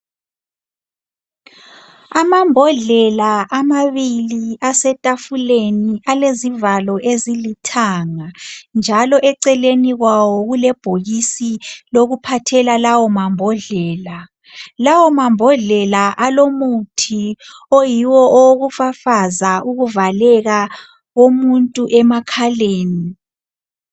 Amambodlela amabili asetafuleni alezivalo ezilithanga njalo eceleni kwawo kulebhokisi okuphathela lawo mambodlela. Lawo mambodlela alomuthi wokufafaza ukuvaleka komuntu emakhaleni.